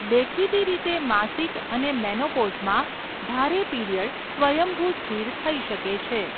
દેખીતી રીતે, માસિક અને મેનોપોઝમાં ભારે પીરીયડ સ્વયંભૂ સ્થિર થઈ શકે છે.